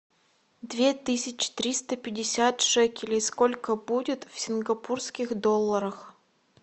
две тысячи триста пятьдесят шекелей сколько будет в сингапурских долларах